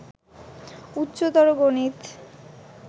উচ্চতর গণিত